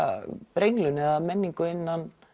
brenglun eða menningu innan